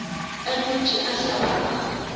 a dutše a hlaba a